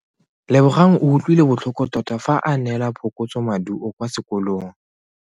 Lebogang o utlwile botlhoko tota fa a neelwa phokotsomaduo kwa sekolong.